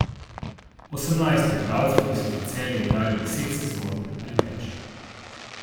Osemnajst je igralcev, ki so za Celje igrali deset sezon ali več.